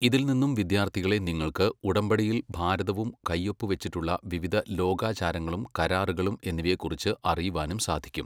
ഇതിൽ നിന്നും വിദ്യാർഥികളെ നിങ്ങൾക്ക് ഉടമ്പടിയിൽ ഭാരതവും കൈഒപ്പു വെച്ചിട്ടുള്ള വിവിധ ലോകാചാരങ്ങളും കരാറുകളും എന്നിവയെ കുറിച്ച് അറിയുവാനും സാധിക്കും.